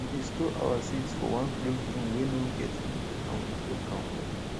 we dey store our seeds for one closed room wey no get window and we lock am well